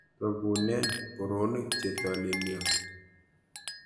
Togunen boroonik chetolelion.